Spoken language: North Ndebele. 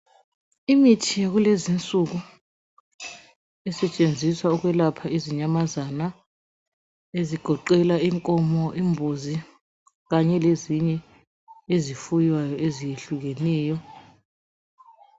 Imithi yakulezi insuku esetshenziswa ukwelapha izinyamazana ezigoqela inkomo imbuzi kanye lezinye izifuyo ezehlukeneyo